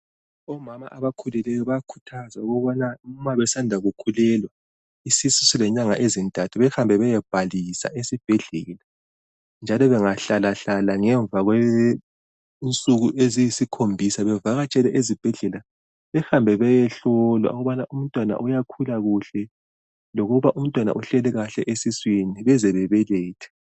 Omama abakhulileyo bayakhuthazwa ukubana ma besanda kukhulelwa isisu silenyanga ezintathu behambe beyebhalisa esibhedlela njalo bengahlalahlala ngemva kwensuku eziyisikhombisa bavakatshele ezibhedlela behambe bayehlolwa ukubana umntwana uyakhula kuhle lokuba umntwana uhleli kahle esiswini beze babelethe.